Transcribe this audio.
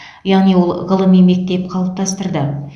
яғни ол ғылыми мектеп қалыптастырды